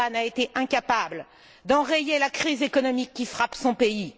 Orban a été incapable d'enrayer la crise économique qui frappe son pays.